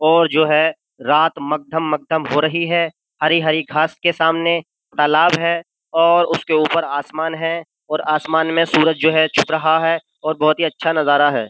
और जो है रात मगधम मगधम हो रही है हरी हरी गास के सामने तालाब है और उसके ऊपर आसमान है और आसमान में सूरज जो है छुप रहा है और बहुत ही अच्छा नजारा है।